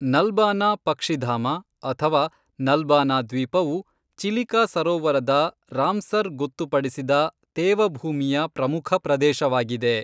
ನಲ್ಬಾನಾ ಪಕ್ಷಿಧಾಮ ಅಥವಾ ನಲ್ಬಾನಾ ದ್ವೀಪವು ಚಿಲಿಕಾ ಸರೋವರದ ರಾಮ್ಸರ್ ಗೊತ್ತುಪಡಿಸಿದ ತೇವಭೂಮಿಯ ಪ್ರಮುಖ ಪ್ರದೇಶವಾಗಿದೆ.